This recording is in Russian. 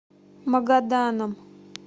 магаданом